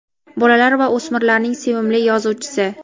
bolalar va o‘smirlarning sevimli yozuvchisi.